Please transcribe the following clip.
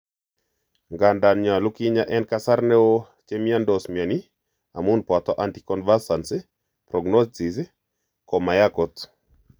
Ngandan nyolu kinya en kasar neo chemiondos mioni amun poto anticonvulsants, prognosis Ko mayai kot.